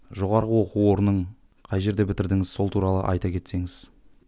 жоғарғы оқу орнын қай жерде бітірдіңіз сол туралы айта кетсеңіз